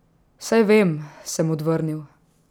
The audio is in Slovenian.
Saj vem, sem odvrnil.